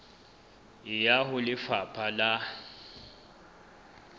e ya ho lefapha la